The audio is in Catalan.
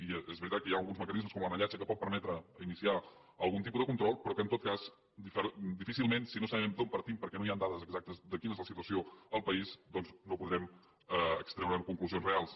i és veritat que hi ha alguns mecanismes com l’anellatge que poden permetre iniciar algun tipus de control però en tot cas difícilment si no sabem d’on partim perquè no hi han dades exactes de quina és la situació al país doncs podrem extreure’n conclusions reals